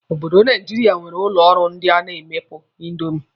Obodo Naijiria nwere ụlọ ọrụ ndị na-emepụta índomi.